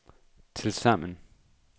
tilsammen